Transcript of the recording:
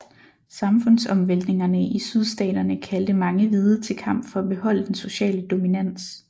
Samfundsomvæltningerne i Sydstaterne kaldte mange hvide til kamp for at beholde den sociale dominans